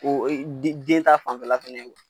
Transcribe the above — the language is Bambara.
O den ta fanfɛla fɛnɛ be yen.